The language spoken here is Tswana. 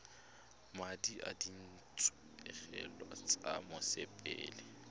madi a ditshenyegelo tsa mosepele